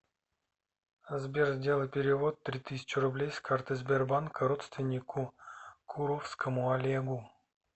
сбер сделай перевод три тысячи рублей с карты сбербанк родственнику куровскому олегу